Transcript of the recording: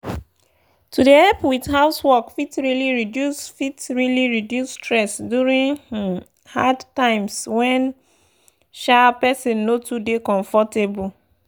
to dey help with housework fit really reduce fit really reduce stress during um hard times when um person no too dey comfortable.